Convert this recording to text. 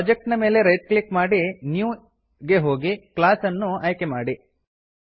project ನ ಮೇಲೆ right click ಮಾಡಿ ನ್ಯೂ ಗೆ ಹೋಗಿ ಕ್ಲಾಸ್ ಅನ್ನು ಆಯ್ಕೆ ಮಾಡಿ